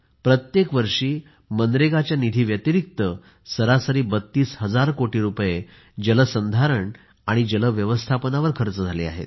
प्रत्येक वर्षी मनरेगाच्या निधी व्यतिरिक्त सरासरी 32 हजार कोटी रुपये जलसंधारण आणि जल व्यवस्थापनावर खर्च झाला आहे